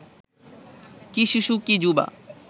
কি শিশু কি যুবা